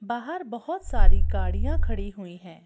बाहर बहुत सारी गाड़ियां खड़ी हुई हैं।